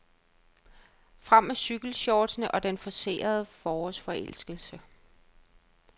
Frem med cykelshortsene og den forcerede forårsforelskelse.